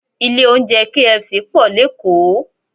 Ilé oúnjẹ KFC pọ̀ lékòó